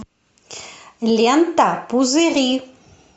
лента пузыри